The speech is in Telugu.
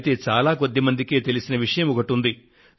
అయితే చాలా కొద్ది మందికే తెలిసిన విషయం ఒకటి ఉంది